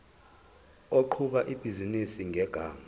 oqhuba ibhizinisi ngegama